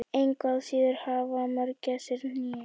engu að síður hafa mörgæsir hné